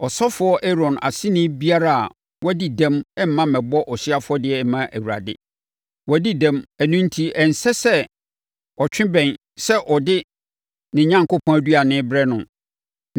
Ɔsɔfoɔ Aaron aseni biara a wadi dɛm mma mmɛbɔ ɔhyeɛ afɔdeɛ mma Awurade. Wadi dɛm, ɛno enti ɛnsɛ sɛ ɔtwe bɛn sɛ ɔde ne Onyankopɔn aduane rebrɛ no.